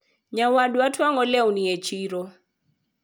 nyawadwa twango lewni e chiro